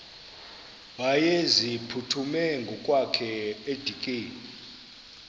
wayeziphuthume ngokwakhe edikeni